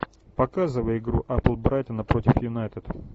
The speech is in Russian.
показывай игру апл брайтона против юнайтед